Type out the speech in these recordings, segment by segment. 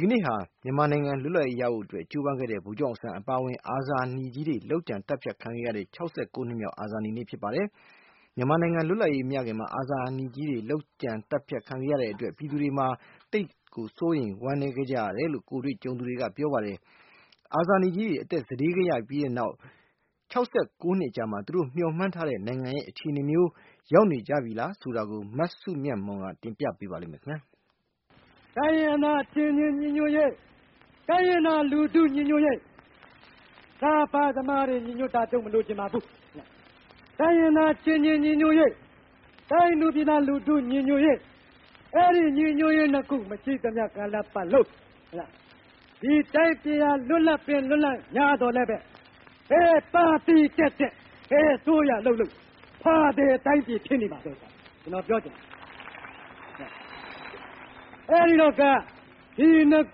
က်နေ့ဟာ မြန်မာနိုင်ငံလွတ်လပ်ရေးရဖို့ ကြိုးပမ်းခဲ့ကြတဲ့ ဗိုလ်ချုပ်အောင်ဆန်းပါအဝင် အာဇာနည်ကြီးတွေ လုပ်ကြံသတ်ဖြတ်ခံခဲ့ရတဲ့ ၆၉ နှစ်မြောက် အာဇာနည်နေ့ ဖြစ်ပါတယ်။ မြန်မာနိုင်ငံ လွတ်လပ်ရေး မရခင်မှာ အာဇာနည်ကြီးတွေ လုပ်ကြံ သတ်ဖြတ်ခံခဲ့ရတဲ့အတွက် ပြည်သူတွေ သိပ်ကို ဝမ်းနည်း စိုးရိမ်ခဲ့ကြတယ်လို့ ကိုယ်တွေ့ကြုံခဲ့သူတွေက ပြောပြကြပါတယ်။ အခု ၆၉ နှစ်အကြာ အသက်ပေးခဲ့ရတဲ့ အာဇာနည် ခေါင်းဆောင်ကြီးတွေ မျှော်မှန်း ထားတဲ့ နိုင်ငံ အခြေအနေမျိုး ရောက်နေပြီလား ဆိုတာကို မစုမြတ်မွန်က တင်ပြ ပါလိမ့်မယ်။ “တိုင်းရင်းသား အချင်းချင်း ညီညွတ်ရေး၊ တိုင်းရင်းသား လူထု ညီညွတ်ရေး၊ စားဖား သမားတွေ ညီညွတ်တာ ကျုပ်မလိုချင်ပါဘူး။ တိုင်းရင်းသား အချင်းချင်း ညီညွတ်ရေး၊ တိုင်းသူပြည်သား လူထု ညီညွတ်ရေး။ အဲဒီ ညီညွတ်ရေး နှစ်ခု မရှိသမျှ ကာလ ပတ်လုံး၊ ဒီတိုင်းပြည်ဟာ လွတ်လပ်ပင် လွတ်လပ်ငြားသော်လည်းပဲ၊ ဘယ်ပါတီ တက်တက် ဘယ်အစိုးရ လုပ်လုပ် -ာသည် နိုင်ငံ ဖြစ်နေမှာပဲ။ အဲဒီလိုပဲ ကျွန်တော် ပြောချင် တယ်။ အဲဒီတော့ကာ ဒီနှစ်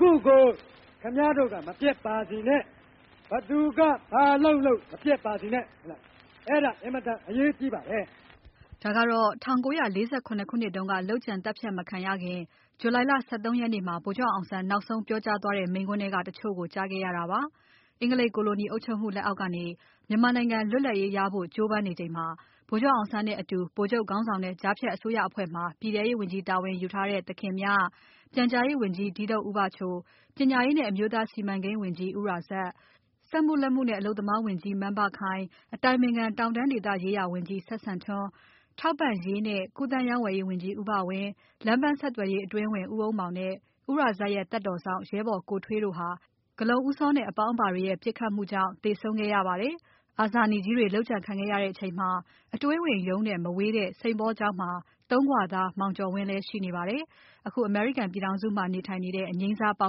ခုကို ခင်ဗျားတို့က မပျက်ပါစေနဲ့။ ဘယ်သူက ဘာလုပ်လုပ် မပျက်ပါစေနဲ့။ အဲဒါ အင်မတန် အရေးကြီးပါတယ်။ ” ဒါကတော့ ၁၉၄၇ ခုနှစ်တုန်းက လုပ်ကြံ သတ်ဖြတ်မခံရခင် ဂျူလိုင်လ ၁၃ ရက်နေ့မှာ ဗိုလ်ချုပ် အောင်ဆန်း နောက်ဆုံး ပြောကြားသွားတဲ့ မိန့်ခွန်းထဲက တချို့ကို ကြားခဲ့ရတာပါ။ အင်္ဂလိပ် ကိုလိုနီ အုပ်ချုပ်မှုလက်အောက် ကနေ မြန်မာနိုင်ငံ လွတ်လပ်ရေးရဖို့ ကြိုးပမ်းနေချိန်မှာ ဗိုလ်ချုပ် အောင်ဆန်းနဲ့ အတူ ဗိုလ်ချုပ် ခေါင်းဆောင်တဲ့ ကြားဖြတ် အစိုးရ အဖွဲ့မှာ ပြည်ထဲရေး ဝန်ကြီး တာဝန် ယူထားတဲ့ သခင်မြ၊ ပြန်ကြားရေး ဝန်ကြီး ဒီးဒုတ်ဦးဘချို၊ ပညာရေးနဲ့ အမျိုးသား စီမံကိန်း ဝန်ကြီး ဦးရာဇတ်၊ စက်မှု လက်မှုနှင့် အလုပ်သမား ဝန်ကြီး မန်းဘခိုင်၊ အတိုင်ပင်ခံ တောင်တန်း ဒေသရေးရာ ဝန်ကြီး စဝ်စံထွန်း၊ ထောက်ပံ့ရေးနှင့် ကူးသန်း ရောင်းဝယ်ရေး ဝန်ကြီး ဦးဘဝင်း၊ လမ်းပန်း ဆက်သွယ်ရေး အတွင်းဝန် ဦးအုံးမောင်နဲ့ ဦးရာဇတ်ရဲ့သက်တော်စောင့် ရဲဘော်ကိုထွေးတို့ဟာ ဂဠုန်ဦးစောနဲ့ အပေါင်းအပါ တွေရဲ့ ပစ်ခတ်မှုနဲ့ ကျဆုံးခဲ့ရပါတယ်။ အာဇာနည်ကြီးတွေ လုပ်ကြံခံခဲ့ရချိန်မှာ အတွင်းဝန်ရုံးနဲ့ မဝေးတဲ့ စိန်ပေါလ်ကျောင်း မှာ သုံးခွသား မောင်ကျော်ဝင်းလဲ ရှိနေပါတယ်။ အခု အမေရိကန် ပြည်ထောင်စုမှာ နေထိုင်နေတဲ့ အငြိမ်းစား ပါ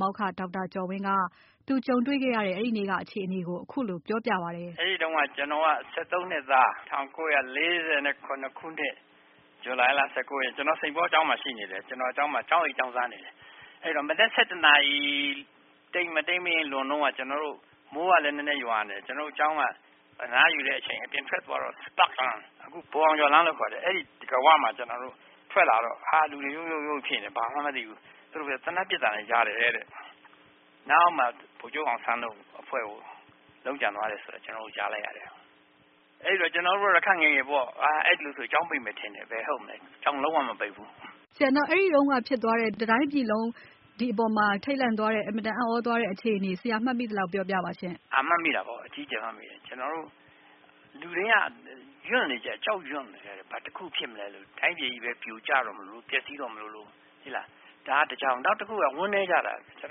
မောက္ခ ဒေါက်တာ ကျော်ဝင်းက သူကြုံတွေ့ ခဲ့ရတဲ့ အဲဒီနေ့က အခြေအနေကို ခုလို ပြောပြပါတယ်။ “အဲဒီတုန်းက ကျွန်တော်က ၁၃နှစ်သား။ ၁၉၄၇ခုနှစ် ဇူလိုင်လ ၁၉ရက်နေ့။ ကျွန်တော်က စိန့်ပေါကျောင်းမှာ ရှိနေတယ်။ ကျွန်တော်က ကျောင်းမှာ ကျောင်းအိပ် ကျောင်းစား နေတယ်။ အဲဒီတုန်းက မနက်၁၁နာရီ မတိမ်းမယိမ်း လွန်တုန်းက ကျွန်တော်တို့ မိုးကလဲ နည်းနည်း ရွာနေတယ်။ ကျွန်တော်တို့ ကျောင်းက အနားယူတဲ့အချိန် အပြင်ထွက်သွားတော့ Spark လမ်း။ အခု ဗိုလ်အောင်ကျော်လမ်းလို့ ခေါ်တယ်။ အဲဒီ တံခါးအဝမှာ ထွက်လာတော့ လူတွေ ရုတ်ရုတ် ဖြစ်နေတယ်။ ဘာဖြစ်မှန်း မသိဘူး။ သူတို့ ပြောတာ သေနတ်ပစ်သံလည်း ကြားတယ်တဲ့။ နောက်မှ ဗိုလ်ချုပ် အောင်ဆန်းတို့ အဖွဲ့ကို လုပ်ကြံသွားတယ် ဆိုတာ ကျွန်တော်တို့ ကြားလိုက်ရတယ်။ အဲဒီတော့ ကျွန်တော်တို့က ခပ်ငယ်ငယ်ပေါ့။ အဲဒီလိုဆို ကျောင်းပိတ်မယ်ထင်တာ။ ဘယ်ဟုတ်မလဲ။ ကျောင်းလုံး၀ မပိတ်ဘူး။ ” မေး။ “အဲဒီ တုန်းက ဖြစ်သွားတဲ့ တတိုင်းပြည်လုံး တုန်လှုပ်သွားတဲ့၊ အင်မတန် အံ့သြသွားတဲ့ အခြေအနေကို ဆရာ မှတ်မိ သလောက် ပြောပြပါ။” “မှတ်မိ တာပေါ့။ အကြီးအကျယ် မှတ်မိတာပေါ့။ လူတွေက ကြောက်ရွံ့ နေကြ တယ်။ တစ်ခုခုများ ဖြစ်မလားလို့။ တိုင်းပြည်ကြီးပဲ ပြိုကျတော့ မလိုလို၊ ပျက်စီးတော့ မလိုလို၊ ဒါက တစ်ကြောင်း။ နောက်တစ်ခုက ဝမ်းနည်းကြတာပဲ။ ကျွန်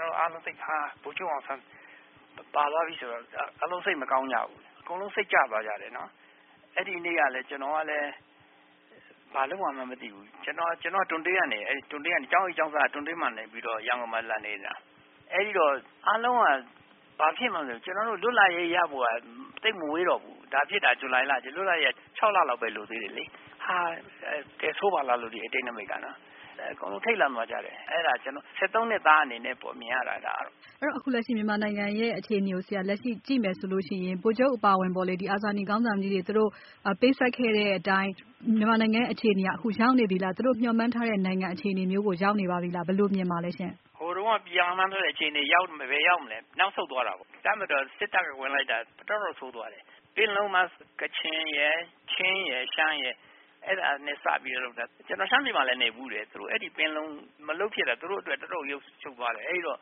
တော်တို့ အားလုံးက ဗိုလ်ချုပ်အောင်ဆန်း ပါသွားပြီ ဆိုတော့ စိတ်မကောင်းကြဘူး။ အကုန်လုံး စိတ်ကျသွားကြတယ်။ ကျွန်တော်ကလဲ ဘာလုပ်ရမှန်း မသိဘူး။ ကျောင်းအိပ်ကျောင်းစားက တွံ့တေးကနေပြီးတော့ ရန်ကုန်မှာ လာနေတာ။ အဲဒီတော့ အားလုံးက ဘာလုပ်ရမလဲ မသိဘူး။ ကျွန်တော်တို့ လွတ်လပ်ရေးရဖို့က သိပ်မဝေးတော့ဘူး။ ဒါဖြစ်တာ ဂျူလိုင်က လွတ်လပ်ရေးရဖို့က ခြောက်လလောက်ပဲ လိုတော့တာလေ။ ဟာ… ဒါဖြစ်တယ် တယ်ဆိုးပါလားလို့ အတိတ်နိမိတ်ကလေ။ အကုန်လုံး ထိတ်လန့်သွားကြတယ်။ အဲဒါ ၁၃ နှစ်သားအနေနဲ့ မြင်ရတာ။” “အဲဒီတော့ ဆရာ လက်ရှိ မြန်မာနိုင်ငံရဲ့ အခြေအနေကို ကြည့်မယ်ဆိုလို့ ရှိရင် ဗိုလ်ချုပ်အပါအဝင် ဒီ အာဇာနည် ခေါင်းဆောင်ကြီးတွေ သူတို့ ပေးဆပ်ခဲ့တဲ့ အတိုင်း မြန်မာနိုင်ငံရဲ့ အခြေအနေဟာ ရောက်နေပြီလား။ သူတို့ မျှော်မှန်း ခဲ့တဲ့ နိုင်ငံ အခြေအနေမျိုးကို ရောက်နေပြီလား။ ဘယ်လို မြင်ပါသလဲ။” “ဟိုတုန်းက မျှော်မှန်းထားတဲ့ အခြေအနေ ဘယ်ရောက်မလဲ။ နောက်ဆုတ် သွားတာပေါ့။ တပ်မတော်၊ စစ်တပ်က ဝင်လိုက်တာ တော်တော့်ကို ဆိုးသွားတယ်။ ပင်လုံမှာ ကချင်ရယ်၊ ရှမ်းရယ်၊ ချင်းရယ် အဲဒါနဲ့ စပြီးတော့ လုပ်တာ။ ကျွန်တော် ရှမ်းပြည်မှာလဲ နေဖူးတယ်။ သူတို့ အဲဒီ ပင်လုံ မလုပ်ဖြစ်တာ သူတို့အတွက် တော်တော့်ကို ရှုံးသွားတယ်။ အဲဒီတော့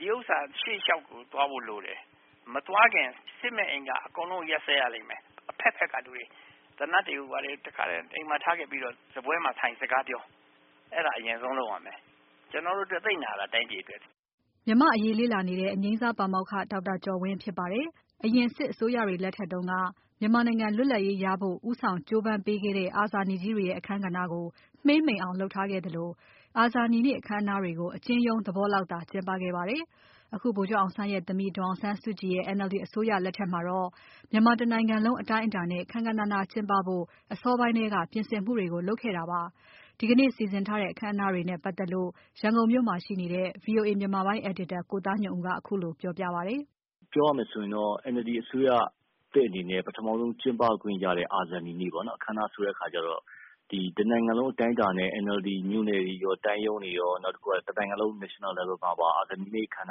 ဒီဥစ္စာ ရှေ့လျှောက်ကို သွားဖို့ လိုတယ်။ မသွားခင် စစ်မက်အင်္ဂါ အကုန်လုံး ရပ်စဲရလိမ့်မယ်။ အဘက်ဘက်ကနေ။ သေနတ်တွေ ဘာတွေ အကုန်လုံး အိမ်မှာ ထားခဲ့ပြီးတော့ စားပွဲမှာ ထိုင် စကားပြော။ အဲဒါ အရင်ဆုံး လုပ်ရမယ်။ ကျွန်တော်တို့အတွက် သိပ်နာတာ။ တိုင်းပြည်အတွက်။ ” မြန်မာ့အရေး လေ့လာနေတဲ့ အငြိမ်းစားပါမောက္ခ ဒေါက်တာကျော်ဝင်း ဖြစ်ပါတယ်။ အရင် စစ်အစိုးရတွေလက်ထက်တွေတုန်းက မြန်မာနိုင်ငံ လွတ်လပ်ရေးရဖို့ ဦးဆောင်ကြိုးပမ်းပေးခဲ့တဲ့ အာဇာနည်ကြီးတွေရဲ့ အခန်းကဏ္ဍကို မှေးမှိန်အောင် လုပ်ထားခဲ့သလို၊ အာဇာနည်နေ့ အခမ်းအနားတွေကို အကျဉ်းရုံး သဘောလောက်သာ ကျင်းပခဲ့ပါတယ်။ အခု ဗိုလ်ချုပ်အောင်ဆန်းရဲ့ သမီးဒေါ်အောင်ဆန်းစုကြည်ရဲ့ NLD အစိုးရ လက်ထက်မှာတော့ မြန်မာ တနိုင်ငံလုံး အတိုင်းအတာနဲ့ ခမ်းခမ်းနားနားကျင်းဖို့ အစောပိုင်းထဲက ပြင်ဆင်မှုတွေ လုပ်ခဲ့တာပါ။ ဒီကနေ့ စီစဉ်ထားတဲ့ အခမ်းအနား တွေနဲ့ ပါတ်သက်လို့ ရန်ကုန်မြို့မှာရှိနေတဲ့ VOA မြန်မာပိုင်း အယ်ဒီတာ ကိုသားညွန့်ဦးက ခုလိုပြောပြပါတယ်။ “ပြောရမယ် ဆိုရင်တော့ NLD အစိုးရသစ်အနေနဲ့ ပထမဆုံး ကျင်းပခွင့်ရတဲ့ အာဇာနည်နေ့ အခမ်းအနား ဆိုတဲ့ အခါကျတော့။ ဒီ တစ်နိုင်ငံလုံး အတိုင်းအတာနဲ့ NLD မြို့နယ်တွေရော၊ တိုင်းရုံးတွေရော၊ နောက်တစ်ခုက တစ်နိုင်ငံလုံး national level မှာပါ အာဇာနည်နေ့ အခမ်းအ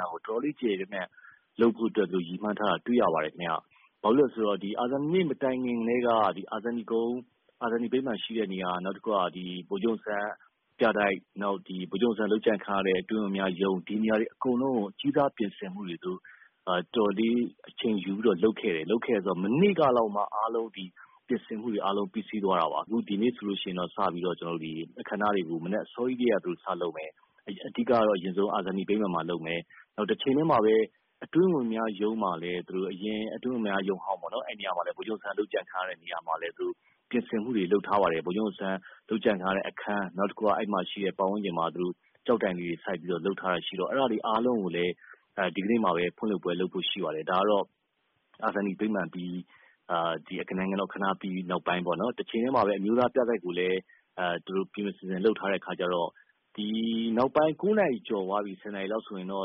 နားကို တော်တော်လေး ကျယ်ကျယ်ပြန့်ပြန့် လုပ်ဖို့ ရည်မှန်းထားတာ တွေ့ရပါတယ် ခင်ဗျ။ ဘာဖြစ်လို့လဲ ဆိုတော့ အာဇာနည်နေ့ မတိုင်ခင် ကတည်းက အာဇာနည်ကုန်း၊ အာဇာနည် ဗိမာန် ရှိတဲ့ နေရာ။ နောက်တစ်ခုက ဗိုလ်ချုပ် အောင်ဆန်း ပြတိုက်၊ ဗိုလ်ချုပ် အောင်ဆန်း လုပ်ကြံခံရတဲ့ အတွင်းဝန်များရုံး။ ဒီနေရာတွေကို အကြီးစား ပြင်ဆင်မှု တော်တော်လေး လုပ်ခဲ့တယ်။ မနေ့က လောက်မှ ပြင်ဆင်မှုတွေ အားလုံး ပြီးစီးသွားတာပါ။ အခု ဒီနေ့ဆိုရင်တော့ အခမ်းအနားတွေကို မနက် အစောကြီးကတည်းက စလုပ်မယ်။ အဓိက ကတော့ အရင်ဆုံး အာဇာနည် ဗိမာန်မှာ လုပ်မယ်။ နောက် အတွင်းဝန်များ ရုံးမှာ လည်း နောက်တစ်ခုက ယခင် အတွင်းဝန်များ ရုံးဟောင်းပေါ့။ ဗိုလ်ချုပ် အောင်ဆန်း လုပ်ကြံခံရတဲ့ နေရာမှာလည်း ပြင်ဆင်မှုတွေ လုပ်ထားပါတယ်။ ဗိုလ်ချုပ် အောင်ဆန်း လုပ်ကြံ ခံရတဲ့ အခန်း၊ နောက်တစ်ခုက အဲဒီမှာ ရှိတဲ့ ပတ်ဝန်းကျင်မှာလည်း သူတို့ ကျောက်တိုင် လေးတွေ စိုက်ပြီးတော့ လုပ်ထားတာ ရှိတော့ အဲဒါတွေ အားလုံးကိုလည်း ဒီကနေ့မှာပဲ ဖွင့်ပွဲ လုပ်ဖို့ ရှိနေပါတယ်။ ဒါကတော့ အာဇာနည် ဗိမာန်အပြီး၊ နိုင်ငံတော် အခမ်းအနား အပြီး နောက်ပိုင်း ပေါ့နော်။ တချိန်တည်းမှာပဲ အမျိုးသား ပြတိုက်ကိုလည်း ပြင်ပြင် ဆင်ဆင် လုပ်ထားတော့ နောက်ပိုင်း ၉နာရီ ကျော်သွားပြီ ဆိုရင်တော့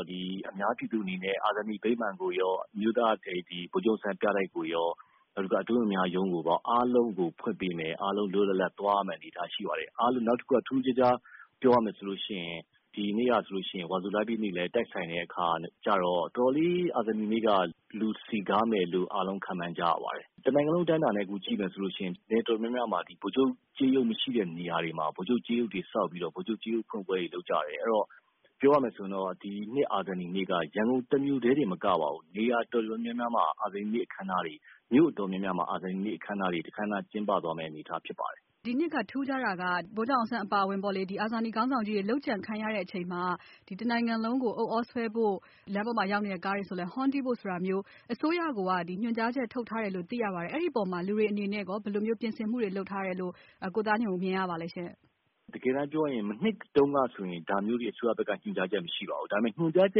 အာဇာနည် ဗိမာန်ကိုရော၊ ဗိုလ်ချုပ် အောင်ဆန်း ပြတိုက်ကိုရော၊ အတွင်းဝန်များ ရုံးကိုရော၊ အားလုံးကို လွတ်လွတ်လပ်လပ် ဖွင့်ပေးမယ်။ အားလုံးကို သွားရမယ့် အနေအထား ရှိပါတယ်။ နောက်တစ်ခုက ထူးထူးခြားခြား ပြောရမယ် ဆိုလို့ ရှိရင်၊ ဒီနေ့ဟာ ဆိုလို့ ရှိရင်၊ ဝါဆို လပြည့်နေ့လည်း တိုက်ဆိုင်နေတဲ့ အခါ ကျတော့ အာဇာနည်နေ့က တော်တော်လေး လူစည်ကားလိမ့်မယ်လို့ ယူဆရပါတယ်။ တစ်နိုင်ငံလုံးအတိုင်းအတာနဲ့ကြည့်မယ် ဆိုလို့ရှိရင်လည်း နယ်တော်တော် များများမှာ ဗိုလ်ချုပ် ကျေးရုပ်မရှိတဲ့ နယ်တော်တော် များများမှာ ဗိုလ်ချုပ် ကျေးရုပ်တွေ ဆောက်ပြီးတော့ ဖွင့်ပွဲတွေ လုပ်ကြတယ်။ ပြောရမယ် ဆိုရင်တော့ ဒီနှစ် အာဇာနည်နေ့ အခမ်းအနားဟာ ရန်ကုန်မြို့ တစ်မြို့တည်း တင် မကပါဘူး။ နယ်တော်တော်များများမှာ၊ မြို့ တော်တော်များများမှာ အာဇာနည်နေ့ အခမ်းအနားတွေ ကျင်းပသွားဖို့ ရှိပါတယ်။” “ဒီနှစ်မှာ ထူးခြားတာက ဗိုလ်ချုပ် အောင်ဆန်း အပါအဝင်ပေါ့။ ဒီ အာဇာနည် ခေါင်းဆောင်ကြီးတွေ လုပ်ကြံခံရတဲ့ အချိန်မှာ တစ်နိုင်ငံလုံးမှာ ဥသြဆွဲဖို့၊ လမ်းပေါ် ရောက်နေတဲ့ ကားတွေ ဆိုလည်း ဟွန်တီးဖို့ ဆိုတာမျိုး အစိုရ ကိုယ်က ညွှန်ကြားချက် ထုတ်ထားတယ်လို့ သိရပါတယ်။ အဲဒီအပေါ်မှာကော လူတွေက ဘယ်လို ပြင်ဆင်မှု လုပ်ထားတယ်လို့ ကိုသားညွန့်ဦး မြင်ရပါသလဲ။” “ တကယ်တမ်း ပြောရရင် မနှစ်က ဒါမျိုးတွေ အစိုးရဘက်က ညွှန်ကြားချက် မရှိပါဘူး။ ညွှန်ကြာချ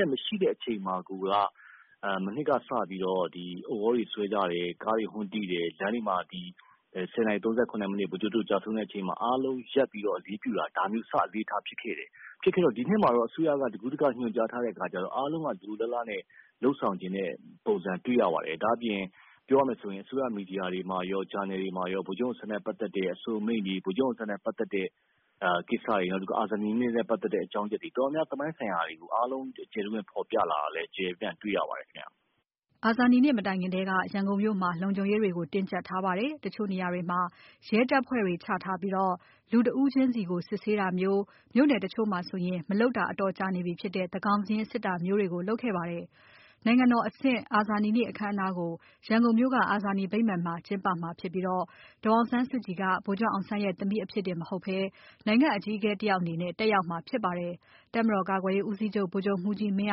က် မရှိတဲ့ အခြေအနေမှာကိုက မနှစ်က စပြီးတော့ ဥသြတွေ ဆွဲကြတယ်။ ကားတွေ ဟွန်းတီးတယ်။ လမ်းတွေမှာ ၁၀နာရီ ၃၇ မိနစ် ဗိုလ်ချုပ်တို့ ကျဆုံးတဲ့ အချိန်မှာ အားလုံးက ရပ်ပြီးတော့ အလေးပြုတာ ဒါမျိုးတွေ ဖြစ်ခဲ့တယ်။ ဒီနှစ်မှာတော့ အစိုးရက တကူးတက ညွှန်ကြားထားတဲ့ အခါကျတော့ အားလုံးက လိုလိုလားလားနဲ့ လုပ်ဆောင်ချင်တဲ့ ပုံစံ တွေ့ရပါတယ်။ ပြောရမယ်ဆိုရင် အစိုးရ မီဒီယာတွေမှာကော၊ ဂျာနယ်တွေမှာရော၊ ဗိုလ်ချုပ်အောင်ဆန်း နဲ့ ပက်သက်တဲ့ အဆိုအမိန့်တွေ၊ ဗိုလ်ချုပ်အောင်ဆန်းနဲ့ ပက်သက်တဲ့ ကိစ္စတွေ၊ နောက်ပြီးတော့ အာဇာနည်နေ့ ပက်သက်တဲ့ အကြောင်းအရာတွေကို တော်တော်များများ သမိုင်း ဆိုင်ရာတွေကို ကျယ်ကျယ် ပြန့်ပြန့် ဖော်ပြလာတာကို တွေ့ရပါတယ် ခင်ဗျ။ ” အာဇာနည်နေ့ မတိုင်ခင်ထဲက ရန်ကုန်မြို့မှာ လုံခြုံရေးတွေကို တင်းကြပ်ထား ပါတယ်။ တချို့ နေရာတွေမှာ ရဲတပ်ဖွဲ့တွေ ချထားပြီး လူတဦးချင်းကို စစ်ဆေးတာမျိုး၊ မြို့နယ် တချို့မှာဆိုရင် မလုပ်တော အတော်ကြာ နေပြီဖြစ်တဲ့ သန်းခေါင်စာရင်း စစ်တာမျိုးတွေ လုပ်ခဲ့ပါတယ်။ နိုင်ငံတော်အဆင့် အာဇာနည်နေ့ အခမ်းအနားကို ရန်ကုန်မြို့က အာဇာနည်ဗိမ္မာန်မှာ ကျင်းပမှာဖြစ်ပြီး ဒေါ်အောင်ဆန်းစုကြည်က ဗိုလ်ချုပ်အောင်ဆန်းရဲ့ သမီးအဖြစ်တင် မဟုတ်ဘဲ နိုင်ငံ့အကြီးအကဲ တယောက်အနေနဲ့ တက်ရောက်မှာဖြစ်ပါတယ်။ တပ်မတော်ကာကွယ်ရေးဦးစီးချုပ် ဗိုလ်ချုပ်မှူးကြီး မင်း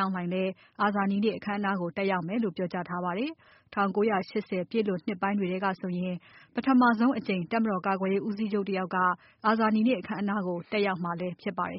အောင်လှိုင်လဲ အာဇာနည်နေ့ အခမ်းအနားကို တက်ရောက် မယ်လို့ ပြောကြားထားပါတယ်။ ၁၉၈၀ ပြည့်နှစ်ပိုင်းတွေထဲက ဆိုရင် ပထမဆုံးအကြိမ် တပ်မတော် ကာကွယ်ရေး ဦးစီးချုပ် တယောက်က အာဇာနည်နေ့ အခမ်းအနားကို တက်ရောက်မှာလဲ ဖြစ်ပါတယ်